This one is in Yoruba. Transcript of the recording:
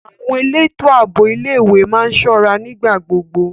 Àwọn elétò ààbò ilé ìwé má ń ṣọ́ra nígbà gbogbo.